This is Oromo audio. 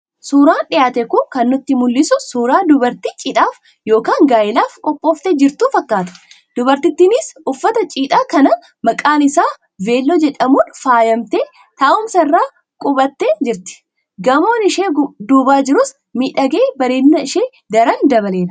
Suuraan dhiyaate kun kan nutti mul'isu suuraa dubartii cidhaaf yookaan gaa'elaaf qophooftee jirtuu fakkaata. Dubartittiinis uffata cidhaa kan maqaan isaa 'velo'jedhamuun faayamtee taa'umsa irra quuphantee jirti. Gamoon ishee duuba jirus miidhagee bareedina ishee daran dabaleera.